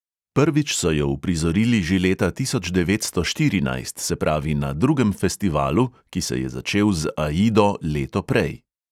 Prvič so jo uprizorili že leta tisoč devetsto štirinajst, se pravi na drugem festivalu, ki se je začel z aido leto prej.